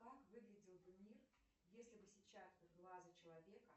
как выглядел бы мир если бы сетчатка глаза человека